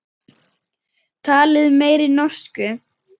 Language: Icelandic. Talið meiri norsku.